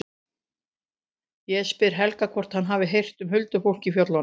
Ég spyr Helga hvort hann hafi heyrt um huldufólk í fjöllunum.